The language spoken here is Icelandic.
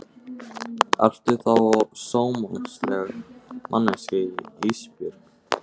Ertu þá sómasamleg manneskja Ísbjörg?